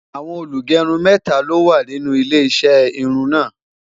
àwọn olugerun méta ló wà nínú ilé iṣé irún na